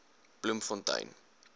bloemfontein